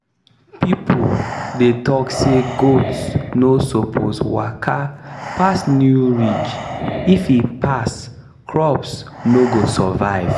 people dey talk say goats no suppose waka pass new ridge if e pass crops no go survive